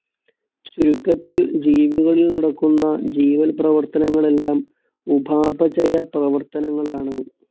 ചുരുക്കത്തിൽ ജീവികളിൽ നടക്കുന്ന ജീവൽ പ്രവർത്തനങ്ങളെല്ലാം ഉപാപചയ പ്രവർത്തനങ്ങളാണ്.